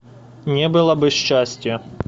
не было бы счастья